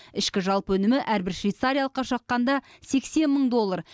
ішкі жалпы өнімі әрбір швейцариялыққа шаққанда сексен мың доллар